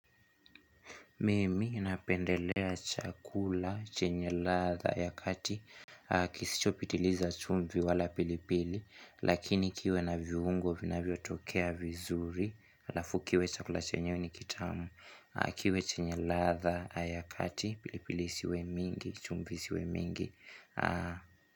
Mimi ninapendelea chakula chenye ladha ya kati Kisichopitiliza chumvi wala pilipili Lakini kiwe na viungo vinavyotokea vizuri halafu kiwe chakula chenyewe ni kitamu kiwe chenye ladha aya kati pilipili isiwe mingi chumvi isiwe mingi.